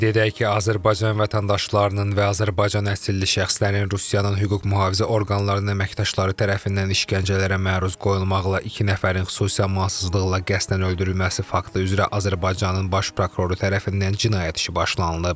Qeyd edək ki, Azərbaycan vətəndaşlarının və Azərbaycan əsilli şəxslərin Rusiyanın hüquq-mühafizə orqanlarının əməkdaşları tərəfindən işgəncələrə məruz qoyulmaqla iki nəfərin xüsusi amansızlıqla qəsdən öldürülməsi faktı üzrə Azərbaycanın Baş Prokuroru tərəfindən cinayət işi başlanılıb.